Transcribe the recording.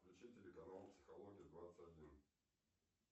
включи телеканал психология двадцать один